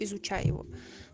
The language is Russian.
изучай его